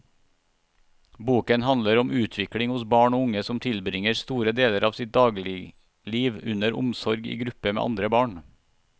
Boken handler om utvikling hos barn og unge som tilbringer store deler av sitt dagligliv under omsorg i gruppe med andre barn.